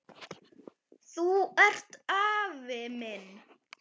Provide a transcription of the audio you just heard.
Þú ert afi minn!